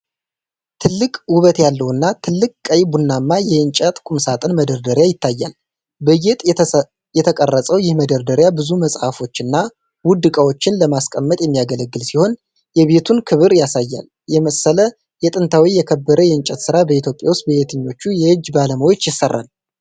ትልቅ፣ ውበት ያለውና ጥልቅ ቀይ ቡናማ የእንጨት ቁምሳጥን መደርደሪያ ይታያል። በጌጥ የተቀረጸው ይህ መደርደሪያ ብዙ መጽሃፎችንና ውድ ዕቃዎችን ለማስቀመጥ የሚያገለግል ሲሆን፣ የቤቱን ክብር ያሳያል። የመሰለ ጥንታዊና የከበረ የእንጨት ስራ በኢትዮጵያ ውስጥ በየትኞቹ የእጅ ባለሙያዎች ይሠራል?